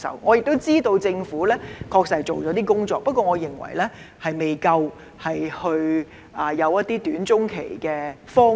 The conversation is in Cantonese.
我亦知道政府確實做了一些工作，但我認為仍不足夠，欠缺短、中期的方案。